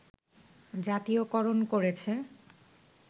জাতীয়করণ করেছে